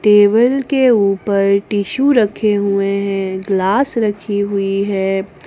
Table के ऊपर tissue रखे हुए हैं ग्लास रखी हुई है।